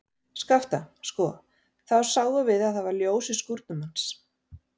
Skapta, sko, þá sáum við að það var ljós í skúrnum hans.